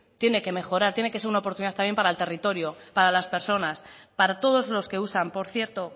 tiene que mejorar tiene que ser una oportunidad también para el territorio para las personas para todos los que usan por cierto